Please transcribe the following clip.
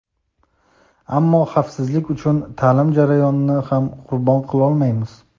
ammo xavfsizlik uchun ta’lim jarayonini ham qurbon qilolmaymiz.